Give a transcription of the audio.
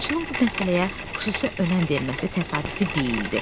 Yazıçının bu məsələyə xüsusi önəm verməsi təsadüfi deyildi.